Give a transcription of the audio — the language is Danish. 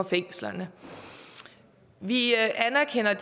fængslerne vi anerkender